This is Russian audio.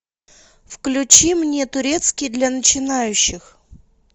включи мне турецкий для начинающих